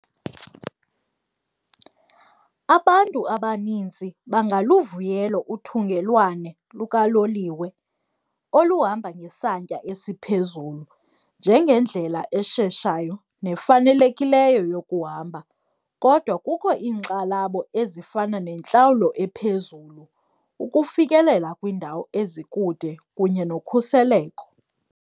Abantu abaninzi bangaluvuyela uthungelwane lukaloliwe oluhamba ngesantya esiphezulu njengendlela esheshayo nefanelekileyo yokuhamba. Kodwa kukho iinkxalabo ezifana nentlawulo ephezulu, ukufikelela kwiindawo ezikude kunye nokhuseleko.